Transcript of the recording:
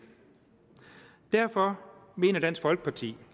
derfor mener dansk folkeparti